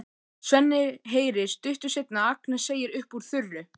Svenni heyrir stuttu seinna að Agnes segir upp úr þurru